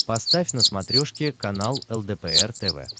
поставь на смотрешке канал лдпр тв